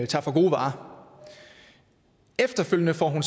tager for gode varer efterfølgende får hun